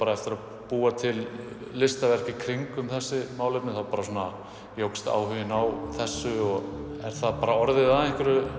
eftir að búa til listaverk í kringum þettau málefni þá jókst áhuginn á þessu og er það bara orðið að